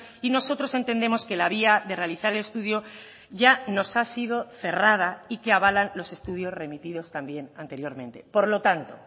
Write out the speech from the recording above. y nosotros entendemos que la vía de realizar el estudio ya nos ha sido cerrada y que abalan los estudios remitidos también anteriormente por lo tanto